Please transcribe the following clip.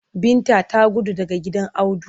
Binta ta gudu daga gidan Audu.